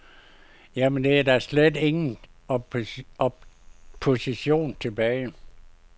Jamen, er der da slet ingen opposition tilbage?